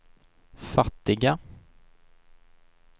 fattiga